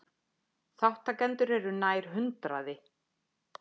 Þátttakendur eru nær hundraði